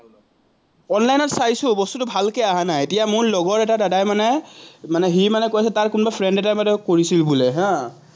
অনলাইনত চাইছো, বস্তুটো ভালকে অহা নাই, এতিয়া মোৰ লগৰ এটা দাদাই মানে, মানে সি মানে কৈ আছে তাৰ কোনবা ফ্ৰেণ্ড এটাই কৰিছিল বোলে হা